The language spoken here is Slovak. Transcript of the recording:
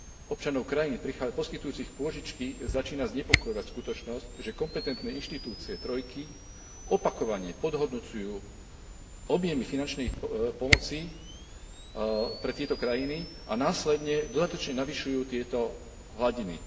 Občanov krajín poskytujúcich pôžičky začína znepokojovať skutočnosť, že kompetentné inštitúcie Trojky opakovane podhodnocujú objemy finančnej pomoci pre tieto krajiny a následne dodatočne navyšujú tieto hladiny.